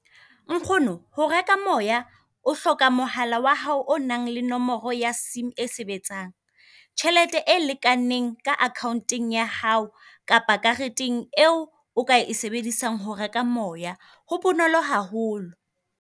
Nkgono, ho reka moya o hloka mohala wa hao o nang le nomoro ya sim e sebetsang, tjhelete e lekaneng ka akhaonteng ya hao kapa kareteng eo o ka e sebedisang ho reka moya. Ho bonolo haholo.